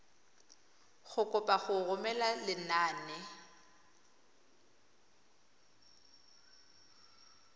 go kopa go romela lenane